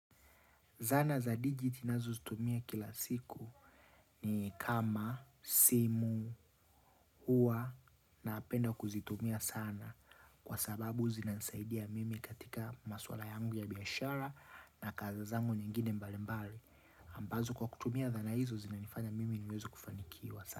Zana za digitinazo zitumia kila siku ni kama, simu, hua na penda kuzitumia sana. Kwa sababu zinanisaidia mimi katika maswala yangu ya biashara na kazizangu nyingine mbali mbali ambazo kwa kutumia dhana hizo zinanifanya mimi niweze kufanikiwa sana.